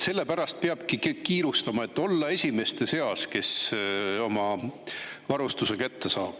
Sellepärast peabki kiirustama, et olla esimeste seas, kes oma varustuse kätte saavad.